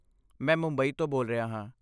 ਮੈਂ ਮੁੰਬਈ ਤੋਂ ਬੋਲ ਰਿਹਾ ਹਾਂ।